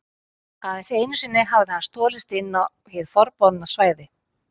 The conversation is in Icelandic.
Aðeins einu sinni hafði hann stolist inn á hið forboðna svæði.